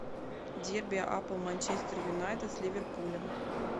дерби апл манчестер юнайтед с ливерпулем